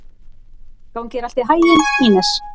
Gangi þér allt í haginn, Ínes.